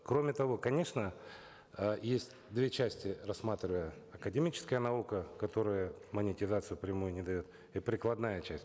кроме того конечно э есть две части академическая наука которая монетизацию прямую не дает и прикладная часть